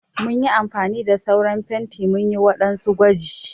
Mun yi amfani da sauran fenti munyi waɗansu gwaji.